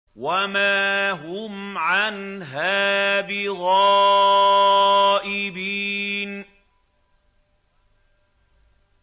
وَمَا هُمْ عَنْهَا بِغَائِبِينَ